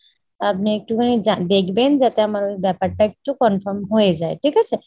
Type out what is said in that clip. আপনি একটুখানি দেখবেন যাতে আমার ব্যাপারটা একটু confirm হয়ে যায় ঠিক আছে ?